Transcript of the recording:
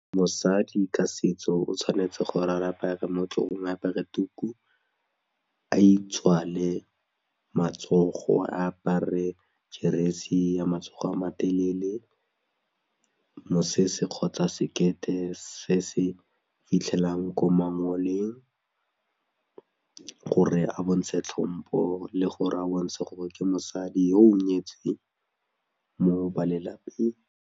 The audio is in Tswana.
Mosadi ka setso o tshwanetse gore ra apare mo tlhogong a apare tuku, a itswale matsogo a apare ke jeresi ya matsogo a matelele, mosese kgotsa sekete se se fitlhelang ko mangoleng gore a bontshe tlhompo le gore a bontshe gore ke mosadi yo o nyetseng mo balelapeng.